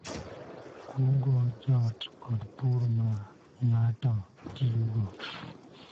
Kuong�o joot, kod pur ma ng�ato tiyogo.